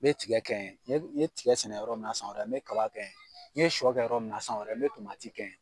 I be tigɛ kɛ yen ye ne ni ye tigɛ sɛnɛ yɔrɔ min na san wɛrɛ n be kala kɛ ye ni n sɔ kɛ yɔrɔ min na san wɛrɛ n be tomati kɛ yen